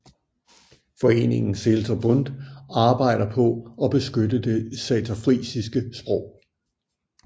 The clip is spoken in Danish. Foreningen Seelter Bund arbejder på at beskytte det saterfrisiske sprog